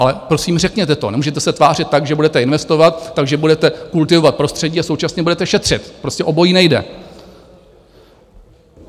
Ale prosím, řekněte to, nemůžete se tvářit tak, že budete investovat, takže budete kultivovat prostředí a současně budete šetřit, prostě obojí nejde.